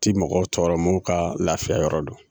Ti mɔgɔw tɔɔrɔ munnu ka lafiya yɔrɔ don